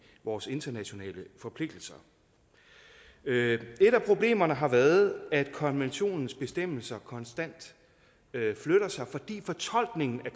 vores internationale forpligtelser et af problemerne har været at konventionens bestemmelser konstant flytter sig fordi fortolkningen af